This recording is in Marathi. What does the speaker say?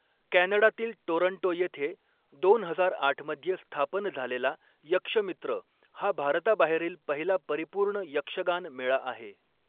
कॅनडातील टोरंटो येथे दोन हजार आठ मध्ये स्थापन झालेला यक्षमित्र हा, भारताबाहेरील पहिला परिपूर्ण यक्षगान मेळा आहे.